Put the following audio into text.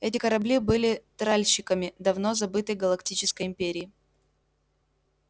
эти корабли были тральщиками давно забытой галактической империи